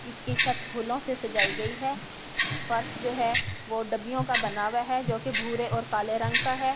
इसकी छत फूलों से सजाई गई है फर्श जो है वो डब्बियों का बनावा हुआ है जो कि भूरे और काले रंग का है --